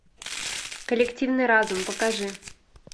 коллективный разум покажи